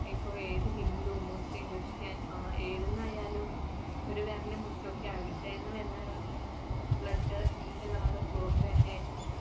ഇപ്പോൾ ഏത് hindu, muslim, Christian ആ ഏതെന്നായാലും ഒരു വിരല് മുറിചോക്യാ വരുന്ന blood ന്‍ടെ color ചുവപ്പ് തന്നെയായിരിക്കും.